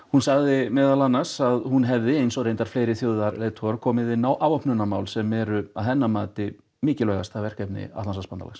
hún sagði meðal annars að hún hefði eins og fleiri komið inn á afvopnunarmál sem eru að hennar mati mikilvægasta verkefni Atlantshafsbandalagsins